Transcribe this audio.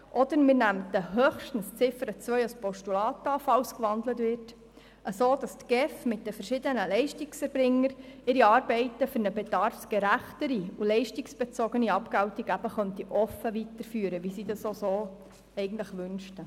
Wir nähmen höchstens die Ziffer 2 als Postulat an, falls sie gewandelt würde, sodass die GEF ihre Arbeit mit den verschiedenen Leistungserbringern für eine bedarfsgerechtere und leistungsbezogene Abgeltung offen weiterführen könnte, wie sie dies wünschte.